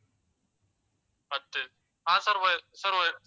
பத்து ஆஹ் sir